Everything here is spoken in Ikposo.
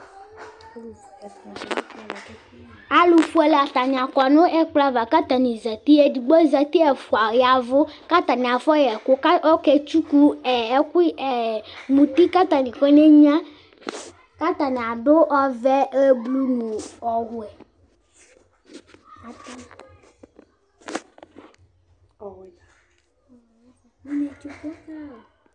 ɑlufuɛlɛ ɑtani kɔ nu ɛkplova kɑtɑni zɑti ɛdigbozɑti ɛfuɑyawu kɑnifɔyɛku kɑkɛtsu ɛɛmuti kɑtɑni kɔmɛgnua kɑtɑniadu ɔvɛ ɔfuɛ ɔwuɛ